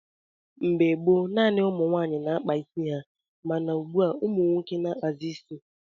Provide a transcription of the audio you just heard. Mgbe gboo, naanị ụmụ nwaanyị na-akpa nwaanyị ịsị ha, mana ugbua umunwoke na-akpazi isi.